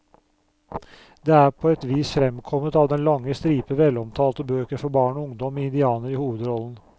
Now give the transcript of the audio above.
Det er på et vis fremkommet av den lange stripe velomtalte bøker for barn og ungdom med indianere i hovedrollen.